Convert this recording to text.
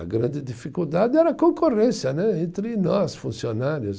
A grande dificuldade era a concorrência né, entre nós, funcionários.